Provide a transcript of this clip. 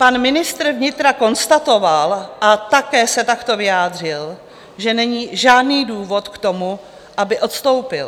Pan ministr vnitra konstatoval a také se takto vyjádřil, že není žádný důvod k tomu, aby odstoupil.